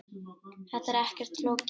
Þetta er ekkert flókið